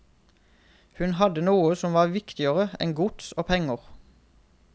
Hun hadde noe som var viktigere enn gods og penger.